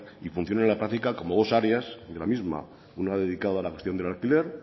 y funciona a la práctica como dos áreas de la misma una dedicada a la gestión del alquiler